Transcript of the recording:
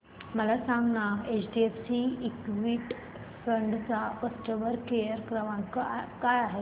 मला सांगाना HDFC equity fund चा कस्टमर केअर क्रमांक काय आहे